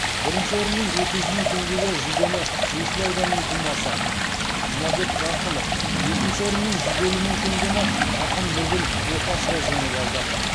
бірінші орын мен екі жүз мың теңге жүлдені есіл ауданының тумасы жұмабек рақымов екінші орын мен жүз елу мың теңгені ақын нұргүл оқашева жеңіп алды